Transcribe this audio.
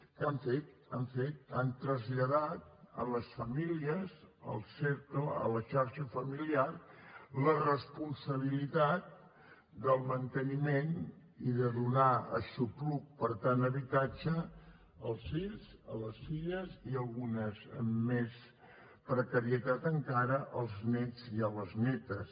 què han fet què han fet han traslladat a les famílies al cercle a la xarxa familiar la responsabilitat del manteniment i de donar aixopluc per tant habitatge als fills i a les filles i algunes amb més precarietat encara als néts i a les nétes